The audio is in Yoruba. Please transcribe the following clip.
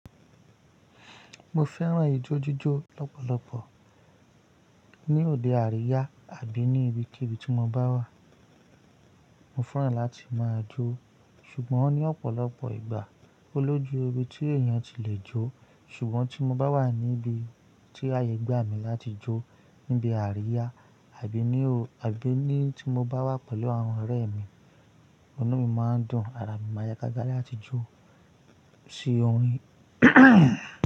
Mo fẹ́ràn ijó jíjó lọ́pọ̀lọpọ̀ ní òde àríyá àbí ní ibikíbi tí mo bá wà. Mo fẹ́ràn láti máa jó ṣùgbọ́n ní ọ̀pọ̀lọpọ̀ ìgbà ó lójú ibi tí èèyàn ti le jó ṣùgbọ́n tí mo bá wà níbi tí ayẹ́ gbà mí láti jó níbi àríyá àbí ní o àbí ní tí mo bá wà pẹ̀lú àwọn ọ̀rẹ́ mi, ọ̀nà mi máa ń dùn, ara mi máa yagágá láti jó sí orin.